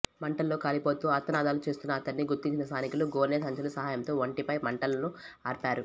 మంటల్లో కాలిపోతూ ఆర్తనాదాలు చేస్తున్న అతడ్ని గుర్తించిన స్థానికులు గోనె సంచుల సహాయంతో ఒంటిపై మంటలను ఆర్పారు